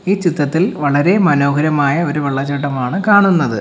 ഈ ചിത്രത്തിൽ വളരെ മനോഹരമായ ഒരു വെള്ളച്ചാട്ടമാണ് കാണുന്നത്.